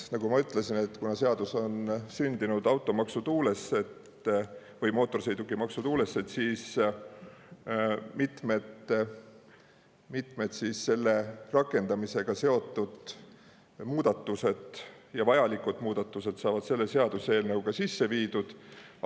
Nagu ma ütlesin, kuna seadus on sündinud automaksu ehk mootorsõidukimaksu tuules, siis mitmed selle rakendamisega seotud vajalikud muudatused saavad selle seaduseelnõuga sisse viidud.